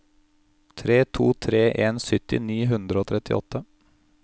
tre to tre en sytti ni hundre og trettiåtte